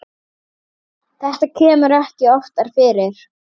Þetta kemur ekki oftar fyrir.